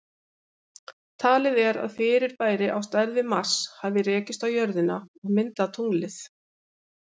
Talið er að fyrirbæri á stærð við Mars hafi rekist á jörðina og myndað tunglið.